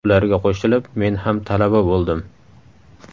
Ularga qo‘shilib men ham talaba bo‘ldim.